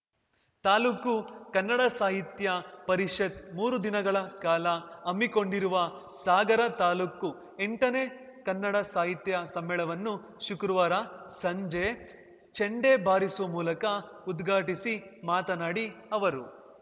ತಾಲೂಕು ಕನ್ನಡ ಸಾಹಿತ್ಯ ಪರಿಷತ್ ಮೂರು ದಿನಗಳ ಕಾಲ ಹಮ್ಮಿಕೊಂಡಿರುವ ಸಾಗರ ತಾಲೂಕು ಎಂಟನೇ ಕನ್ನಡ ಸಾಹಿತ್ಯ ಸಮ್ಮೇಳವನ್ನು ಶುಕ್ರವಾರ ಸಂಜೆ ಚೆಂಡೆ ಬಾರಿಸುವ ಮೂಲಕ ಉದ್ಘಾಟಿಸಿ ಮಾತನಾಡಿ ಅವರು